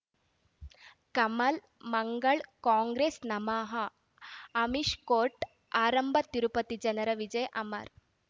ಕಮಲ್ ಮಂಗಳ್ ಕಾಂಗ್ರೆಸ್ ನಮಃ ಅಮಿಷ್ ಕೋರ್ಟ್ ಆರಂಭ ತಿರುಪತಿ ಜನರ ವಿಜಯ್ ಅಮರ್